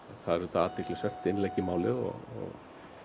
það er auðvitað athyglisvert innlegg í málið og